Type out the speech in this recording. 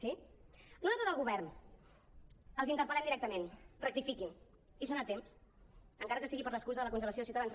sí nosaltres al govern els interpel·lem directament rectifiquin hi són a temps encara que sigui per l’excusa de la congelació de ciutadans